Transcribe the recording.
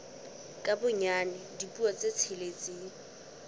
ka bonyane dipuo tse tsheletseng